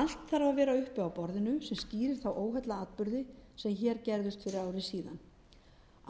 allt þarf að vera uppi á borðinu sem skýrir þá óheillaatburði sem hér gerðust fyrir ári síðan